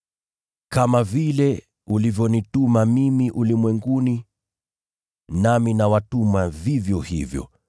Kama vile ulivyonituma mimi ulimwenguni, nami nawatuma vivyo hivyo.